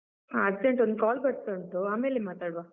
ಹಾ urgent ಒಂದು call ಬರ್ತಾ ಉಂಟು ಆಮೇಲೆ ಮಾತಾಡುವ.